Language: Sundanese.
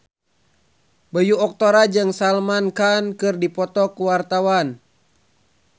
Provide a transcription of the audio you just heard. Bayu Octara jeung Salman Khan keur dipoto ku wartawan